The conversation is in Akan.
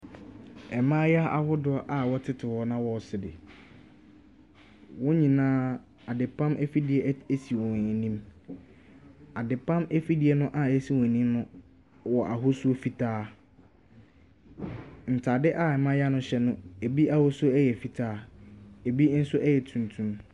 Ɛmaayewa ahodoɔ a wɔtete hɔ na wɔɔsre, wɔn nyinaa adepam afidie esi wɔn anim. Adepam afidie no a esi wɔn anim no wɔ ahosuo fitaa, ntaade a ɛmaayaa no hyɛ no ebi ahosuo ɛyɛ fitaa, ebi nso ɛyɛ tuntum.